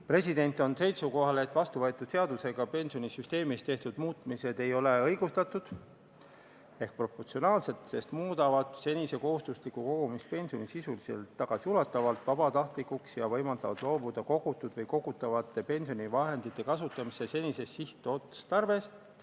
President on seisukohal, et vastuvõetud seadusega pensionisüsteemis tehtud muutused ei ole õigustatud ega proportsionaalsed, sest muudavad senise kohustusliku kogumispensioni sisuliselt tagasiulatuvalt vabatahtlikuks ja võimaldavad loobuda kogutud või kogutavate pensionivahendite kasutamise senisest sihtotstarbest.